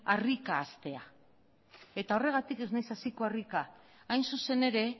harrika hastea eta horregatik ez naiz hasiko harrika hain zuzen ere